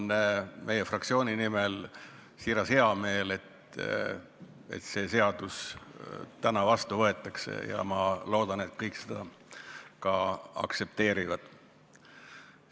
Mul on meie fraktsiooni nimel siiralt hea meel, et see seadus täna vastu võetakse, ja ma loodan, et kõik seda ka aktsepteerivad.